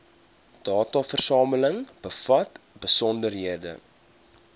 dataversameling bevat besonderhede